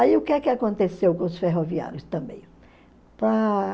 Aí o que é que aconteceu com os ferroviários também?